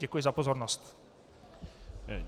Děkuji za pozornost.